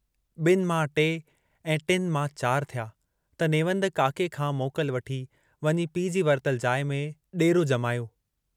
बिन मां टे ऐं टिनि मां चार थिया त नेवंद काके खां मोकल वठी वञी पीउ जी वरतल जाइ में ॾेरो जमायो।